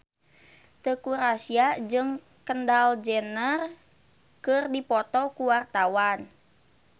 Teuku Rassya jeung Kendall Jenner keur dipoto ku wartawan